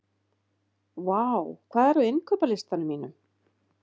Vár, hvað er á innkaupalistanum mínum?